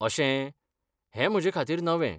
अशें, हें म्हजे खातीर नवें.